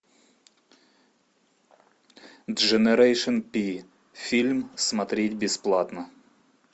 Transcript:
дженерейшен пи фильм смотреть бесплатно